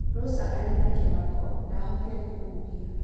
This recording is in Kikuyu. Rosa arĩ na kĩmako - ndahotire kũhuhia.